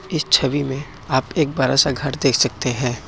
इस छवि में आप एक बड़ा सा घर देख सकते हैं।